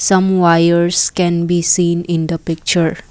some wires can be seen in the picture.